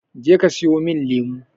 Je ka siyomin lemo!